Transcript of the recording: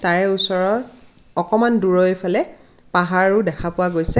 তাৰে ওচৰত আকনমান দুৰৈৰফালে পাহাৰো দেখা পোৱা গৈছে.